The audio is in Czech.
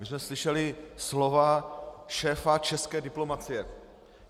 My jsme slyšeli slova šéfa české diplomacie.